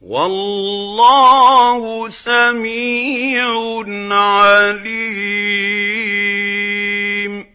وَاللَّهُ سَمِيعٌ عَلِيمٌ